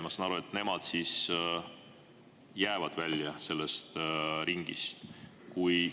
Ma saan aru, et nemad jäävad sellest ringist välja.